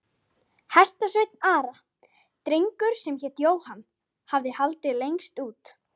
Hestasveinn Ara, drengur sem hét Jóhann, hafði haldið lengst út.